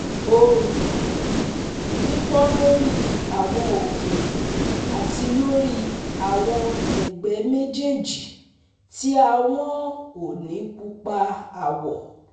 ooru, pipon lori awọn oke ati lori awọn ẹgbẹ mejeeji ti ahọn o ni pupa awọ